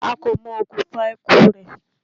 A kò mọ okùnfà ikú u rẹ̀.